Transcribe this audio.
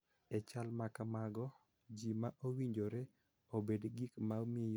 E chal ma kamago, ji ma owinjore obed gik ma miyo ji bedo gi arita kendo bedo gi horuok .